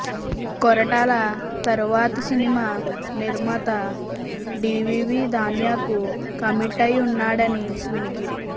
కొరటాల తరువాతి సినిమా నిర్మాత డివివి దానయ్యకు కమిట్ అయి వున్నాడని వినికిడి